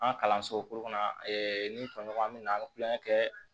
An ka kalanso kɔnɔ ee ni tɔɲɔgɔn bɛ na an bɛ kulonkɛ kɛ